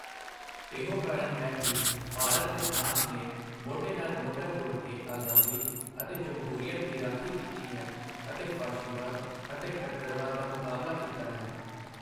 ਇਹੋ ਕਾਰਨ ਹੈ ਕਿ ਭਾਰਤ ਤੇ ਫਰਾਂਸ ਨੇ ਮੋਢੇ ਨਾਲ ਮੋਢਾ ਜੋੜ ਕੇ ਆਜ਼ਾਦੀ ਅਤੇ ਜਮਹੂਰੀਅਤ ਦੀ ਰਾਖੀ ਕੀਤੀ ਹੈ ਅਤੇ ਫਾਸ਼ੀਵਾਦ ਅਤੇ ਕੱਟੜਵਾਦ ਦਾ ਮੁਕਾਬਲਾ ਕੀਤਾ ਹੈ।